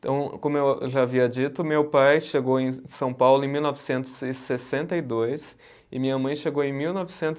Então, como eu eu já havia dito, meu pai chegou em São Paulo em mil novecentos e sessenta e dois e minha mãe chegou em mil novecentos